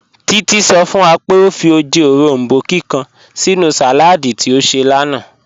Títí sọ̀ fún wà pé ọ fì ojẹ́ orombó kíkan sínú saládì tí ọ ṣẹ̀ lánà